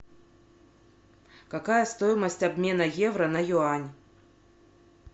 какая стоимость обмена евро на юань